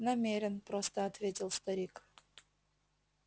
намерен просто ответил старик